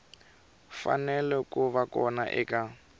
fanele ku va kona eka